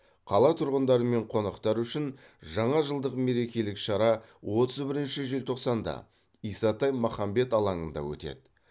қала тұрғындары мен қонақтары үшін жаңа жылдық мерекелік шара отыз бірінші желтоқсанда исатай махамбет алаңында өтеді